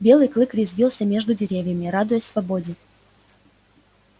белый клык резвился между деревьями радуясь свободе